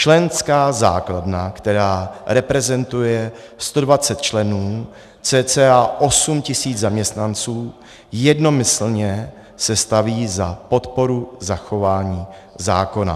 Členská základna, která reprezentuje 120 členů, cca 8tisíc zaměstnanců, jednomyslně se staví za podporu zachování zákona.